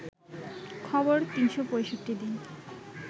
খবর ৩৬৫ দিন